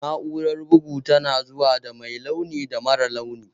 Na'urar bugu tana zuwa da mai launin da marar launi